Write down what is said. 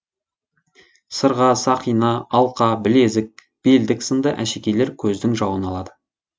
сырға сақина алқа білезік белдік сынды әшекейлер көздің жауын алады